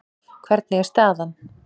Hvernig er staðan?